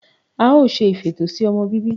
We will be doing family planning.